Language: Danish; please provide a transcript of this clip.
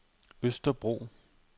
Østerbro